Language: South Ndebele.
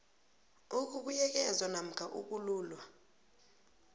ukubuyekezwa namkha ukululwa